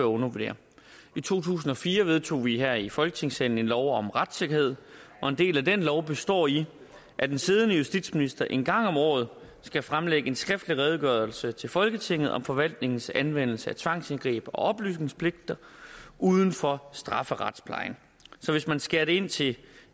undervurdere i to tusind og fire vedtog vi her i folketingssalen lov om retssikkerhed og en del af den lov består i at den siddende justitsminister en gang om året skal fremlægge en skriftlig redegørelse til folketinget om forvaltningens anvendelse af tvangsindgreb og oplysningspligter uden for strafferetsplejen så hvis man skærer ind til